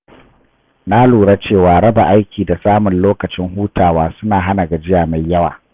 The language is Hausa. Na lura cewa raba aiki da samun lokacin hutawa suna hana gajiya mai yawa.